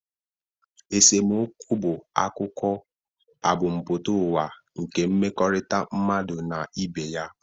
Esemokwu bụ akụkụ ebumpụta ụwa nke mmekọrịta mmadụ na ibe ya.